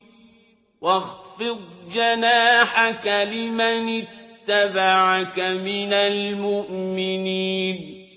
وَاخْفِضْ جَنَاحَكَ لِمَنِ اتَّبَعَكَ مِنَ الْمُؤْمِنِينَ